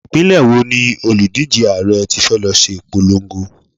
Ìpínlẹ̀ wo ni òlùdíje Ààrẹ tí fẹ́ lọ ṣe ìpolongo?